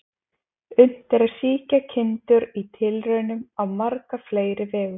Unnt er að sýkja kindur í tilraunum á marga fleiri vegu.